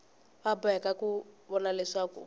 va boheka ku vona leswaku